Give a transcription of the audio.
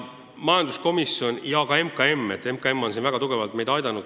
MKM on meid selle teema puhul väga tugevalt aidanud.